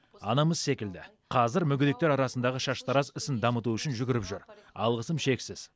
анамыз секілді қазір мүгедектер арасындағы шаштараз ісін дамыту үшін жүгіріп жүр алғысым шексіз